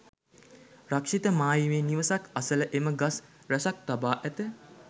රක්ෂිත මායිමේ නිවසක් අසළ එම ගස් රැසක් තබා ඇත.